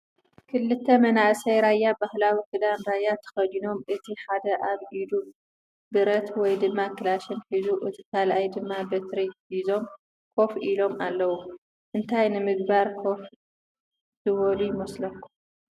ክልተ መንኣሰይ ራያ ባህላዊ ክዳን ራያ ተከዲኖም እቲ ሓደ ኣብ ኢዱ ብረት ወይ ድማ ክላሽን ሕዙ እቲ ካልይ ድማ በትሪ ሒዞም ከፍ ኢሎም ኣለው ። እንታይ ንምግባር ኮፍ ዝበሉ ይመስለኩም ?